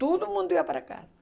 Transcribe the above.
Todo mundo ia para casa.